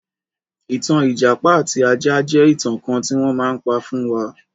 Ìtàn ìjàpá àti ajá jẹ́ ìtàn kan tí wọ́n má ń pa fún wa.